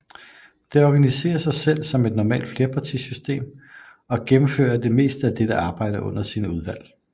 Det organiserer sig selv som et normalt flerpartisystem og gennemføre det meste af dettes arbejde i sine udvalg